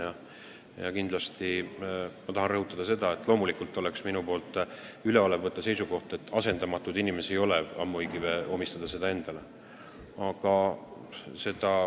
Samas tahan kindlasti rõhutada, et loomulikult mõjuks väga üleolevalt, kui ma võtaksin seisukoha, et on asendamatuid inimesi, pidades silmas iseennast.